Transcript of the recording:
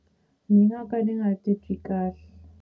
Ni nga ka ni nga titwi kahle.